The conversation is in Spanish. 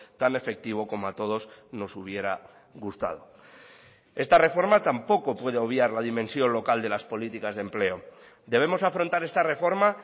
tan efectivo como a todos nos hubiera gustado esta reforma tampoco puede obviar la dimensión local de las políticas de empleo debemos afrontar esta reforma